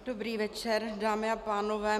Dobrý večer, dámy a pánové.